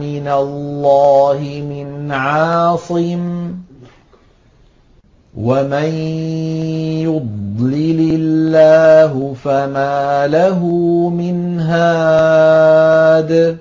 مِّنَ اللَّهِ مِنْ عَاصِمٍ ۗ وَمَن يُضْلِلِ اللَّهُ فَمَا لَهُ مِنْ هَادٍ